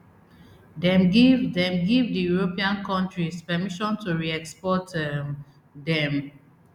dem give dem give di european kontris permission to reexport um dem